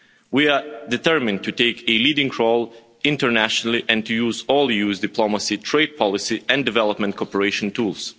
We are determined to take a leading role internationally and to use diplomacy, trade policy and development cooperation tools.